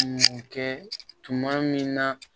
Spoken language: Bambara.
Kɛ tuma min na